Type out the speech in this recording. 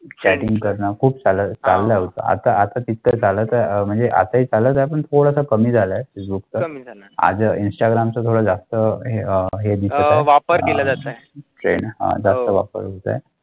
Chatting कर्ना खूप चालेल चालेल आता तर काळ म्हणजे आता चालत आपण थोडा कमी झाला आहे फेसबुकचा आता इन्स्टाग्रामचा थोडा जास्त हे अह जास्त वापर होत आहे.